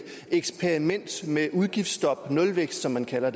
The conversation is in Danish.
eksperiment med udgiftsstop nulvækst som man kalder